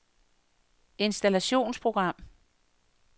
installationsprogram